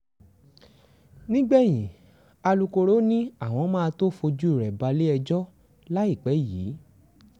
nígbẹ̀yìn alūkkoro ni àwọn máa tóó fojú rẹ balẹ̀-ẹjọ́ láìpẹ́ yìí